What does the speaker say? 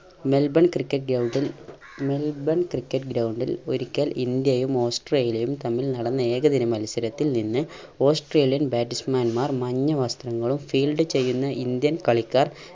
Melbourne cricket ground ൽ Melbourne cricket ground ൽ ഒരിക്കൽ ഇന്ത്യയും ഓസ്‌ട്രേലിയയും തമ്മിൽ നടന്ന ഏകദിന മത്സരത്തിൽ നിന്ന് australian batsman മാർ മഞ്ഞ വസ്ത്രങ്ങളും field ചെയ്യുന്ന indian കളിക്കാർ